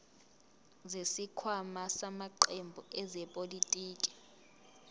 zesikhwama samaqembu ezepolitiki